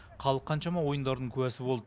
халық қаншама ойындардың куәсі болды